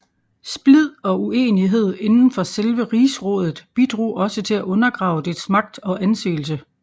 Splid og uenighed inden for selve rigsrådet bidrog også til at undergrave dets magt og anseelse